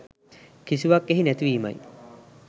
කිසිවක් එහි නැති වීමයි.